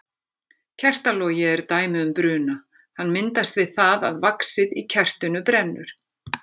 Kertalogi er dæmi um bruna, hann myndast við það að vaxið í kertinu brennur.